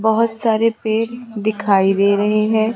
बहुत सारे पेड़ दिखाई दे रहे हैं।